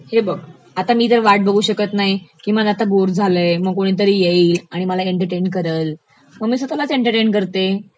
हे बघ, मी तर आता वाट बघू शकत नाही की मला आता बोर झालयं मग कोणीतरी येईल, मला एंटरटेन करेल, मग मी स्वतःलाच एंटरटेन करते.